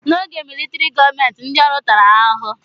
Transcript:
N'oge militrị gọọmenti, ndị ọrụ tara ahụhụ.